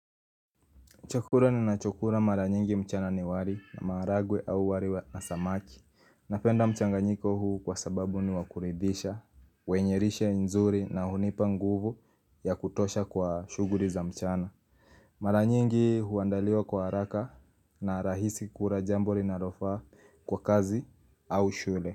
Chukula ninachokula mara nyingi mchana ni wali na maharagwe au wali na samaki. Napenda mchanganyiko huu kwa sababu ni wa kuridhisha, wenye lishe nzuri na hunipa nguvu ya kutosha kwa shughuli za mchana. Mara nyingi huandaliwa kwa haraka na rahisi kuna jambo linalofaa kwa kazi au shule.